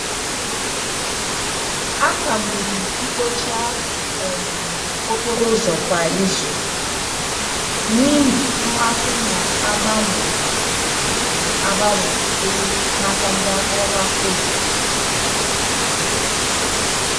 A kagburu mkpocha um okporo ụzọ kwa izu n'ihi mmasị na-agbanwe um agbanwe sitere n'aka ndị ọrụ afọ ofufo.